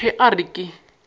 re ge a re ke